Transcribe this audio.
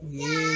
Nin